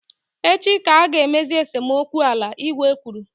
Echi ka a ga emezi esemokwu ala, igwe kwuru